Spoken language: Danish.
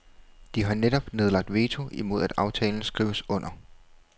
De har netop nedlagt veto imod at aftalen skrives under.